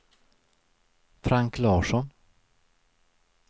Frank Larsson